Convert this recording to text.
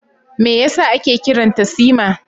Me yasa ake kiran ta Sima?